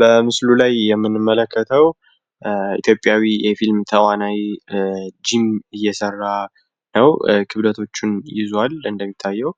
በምስሉ ላይ የምንመለከተው ኢትዮጵያዊ የፊልም ተዋናይ ጅም እየሰራ ነው። ክብደቶችም ይዙዋል እንደሚታየው